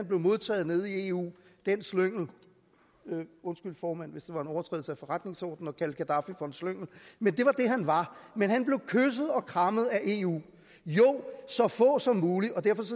blev modtaget nede i eu den slyngel undskyld formand hvis det var en overtrædelse af forretningsordenen at kalde gaddafi for en slyngel men det var det han var han blev kysset og krammet af eu jo så få som muligt og derfor